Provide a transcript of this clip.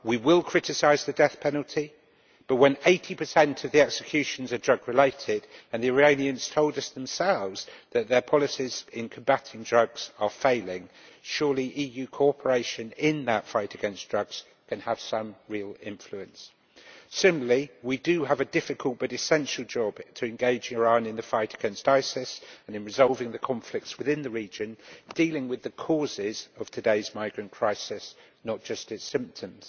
We will criticise the death penalty, but when 80 of the executions are drug related and the Iranians told us themselves that their policies in combating drugs are failing surely EU cooperation in the fight against drugs can have some real influence. Similarly, we have a difficult but essential job to engage Iran in the fight against ISIS and in resolving the conflicts within the region, thus dealing with the causes of today's migrant crisis, not just its symptoms.